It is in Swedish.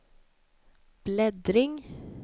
bläddring